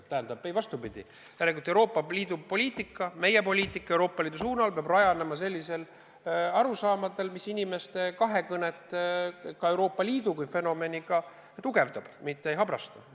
Vastupidi, meie Euroopa Liidu poliitika, meie poliitika Euroopa Liidu suunal peab rajanema sellistel arusaamadel, mis inimeste kahekõnet Euroopa Liidu kui fenomeniga tugevdab, mitte ei habrasta.